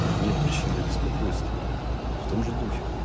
нет причин для беспокойства в том же духе